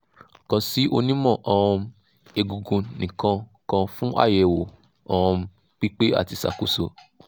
kan si onimo um egungun ni kan kan fun ayewo um pipe ati isakoso